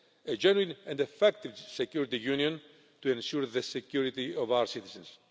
a genuine and effective Security Union to ensure the security of our citizens.